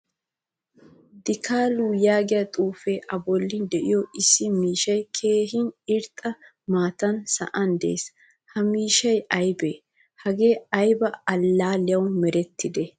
Dikalu yaagiyaa xuufe a bollan deiyo issi miishshay keehin irxxa maataan sa'an de'ees. Ha miishshay aybe? Haagee aybaa allaliyawu merettide?